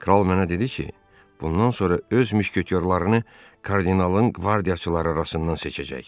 Kral mənə dedi ki, bundan sonra öz müşketiyorlarını kardinalın qvardiyaçıları arasından seçəcək.